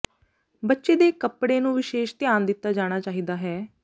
ਬੱਚੇ ਦੇ ਕੱਪੜੇ ਨੂੰ ਵਿਸ਼ੇਸ਼ ਧਿਆਨ ਦਿੱਤਾ ਜਾਣਾ ਚਾਹੀਦਾ ਹੈ